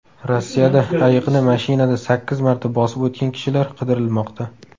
Rossiyada ayiqni mashinada sakkiz marta bosib o‘tgan kishilar qidirilmoqda .